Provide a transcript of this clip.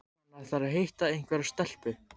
Hann ætlar að hitta einhverja stelpu